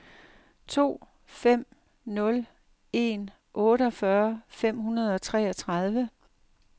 to fem nul en otteogfyrre fem hundrede og treogtredive